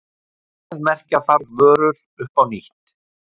Verðmerkja þarf vörur upp á nýtt.